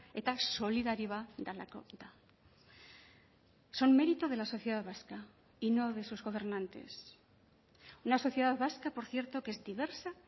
eta solidarioa delako da son mérito de la sociedad vasca y no de sus gobernantes una sociedad vasca por cierto que es diversa